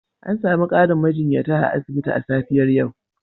An sami ƙarin majiyyata a asibiti a safiyar yau.